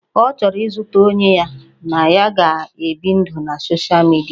Ọ chọrọ izute onye ya na ya ga-ebi ndụ na soshal midia